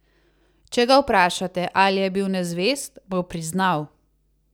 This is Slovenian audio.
Če ga vprašate, ali je bil nezvest, bo priznal.